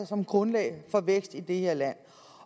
som grundlag for vækst i det her land